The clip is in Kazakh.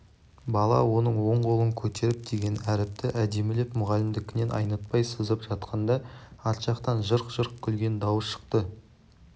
бала оң қолын көтеріп деген әріпті әдемілеп мұғалімдікінен айнытпай сызып жатқанда арт жақтан жырқ-жырқ күлген дауыс шықты